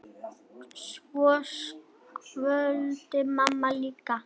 Svo kvaddi mamma líka.